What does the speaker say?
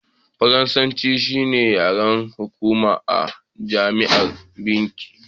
Faransanci. shi ne yaren hukuma a Jamhuriyar Binin